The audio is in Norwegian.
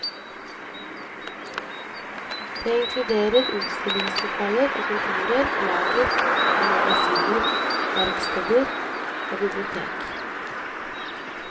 Det inkluderer utstillingslokaler og kontorer, lager og magasiner, verksteder og bibliotek.